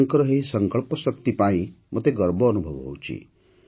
ତାଙ୍କର ଏହି ସଙ୍କଳ୍ପଶକ୍ତି ପାଇଁ ମୋତେ ଗର୍ବ ଅନୁଭବ ହେଉଛି